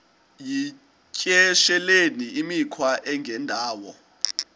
yityesheleni imikhwa engendawo